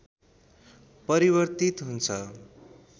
परिवर्तित हुन्छ